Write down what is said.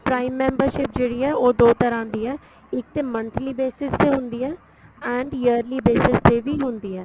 prime membership ਜਿਹੜੀ ਏ ਉਹ ਦੋ ਤਰ੍ਹਾਂ ਦੀ ਏ ਇੱਕ ਤੇ monthly basis ਤੇ ਹੰਦੀ ਏ and yearly basis ਵੀ ਤੇ ਹੁੰਦੀ ਏ